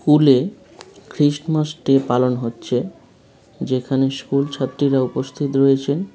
স্কুলে Christmas Day পালন হচ্ছে | যেখানে স্কুল ছাত্রীরা উপস্থিত রয়েছেন ।